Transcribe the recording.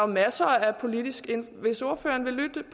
masser af politisk hvis ordføreren vil lytte